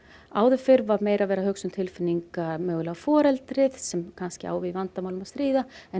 áður fyrr var verið að hugsa um tilfinningar mögulega foreldris sem kannski á við vandamálin að stríða en